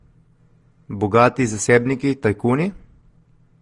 Bogati zasebniki, tajkuni?